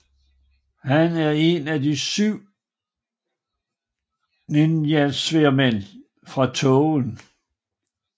Han er en af De syv ninjasværdmænd fra tågen